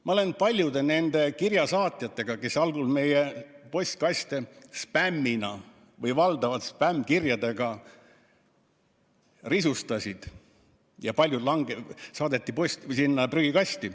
Ma olen suhelnud nende paljude kirjasaatjatega, kes algul meie postkaste valdavalt spämmkirjadega risustasid – ja paljud kirjad saadeti otse prügikasti.